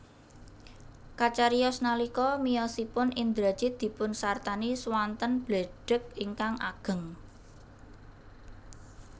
Kacariyos nalika miyosipun Indrajit dipunsartani swanten bledhèg ingkang ageng